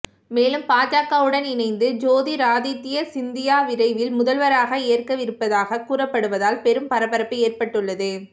மேலும் பாஜகவுடன் இணைந்து ஜோதிராதித்ய சிந்தியா விரைவில் முதல்வராக ஏற்கவிருப்பதாக கூறப்படுவதால் பெரும் பரபரப்பு ஏற்பட்டுள்ளது